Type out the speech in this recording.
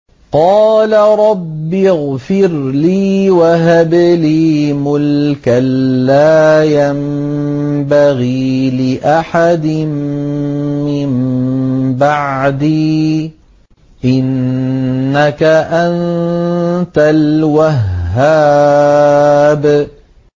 قَالَ رَبِّ اغْفِرْ لِي وَهَبْ لِي مُلْكًا لَّا يَنبَغِي لِأَحَدٍ مِّن بَعْدِي ۖ إِنَّكَ أَنتَ الْوَهَّابُ